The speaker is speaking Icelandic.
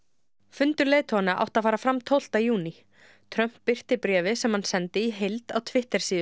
fundur leiðtoganna átti að fara fram tólfta júní Trump birti bréfið sem hann sendi í heild á Twitter síðu